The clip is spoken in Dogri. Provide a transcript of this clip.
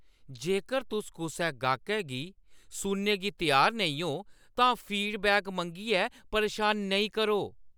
जेकर तुस कुसै गाह्कै गी सुनने गी त्यार नेईं ओ, तां फीडबैक मंग्गियै परेशान नेईं करो।